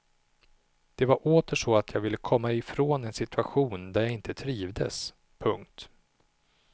Det var åter så att jag ville komma ifrån en situation där jag inte trivdes. punkt